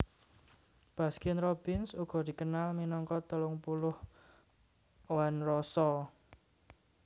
Baskin Robbins uga dikenal minangka telung puluh One Roso